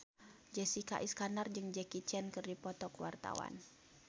Jessica Iskandar jeung Jackie Chan keur dipoto ku wartawan